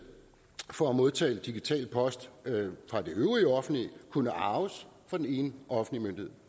for at modtage digital post fra øvrige offentlige myndigheder kunne arves fra den ene offentlige myndighed